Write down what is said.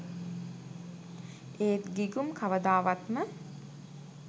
ඒත් ගිගුම් කවදාවත්ම